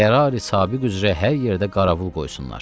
Qərarı sabiğ üzrə hər yerdə qaravul qoysunlar.